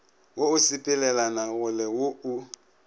wo o sepelelanagole wo o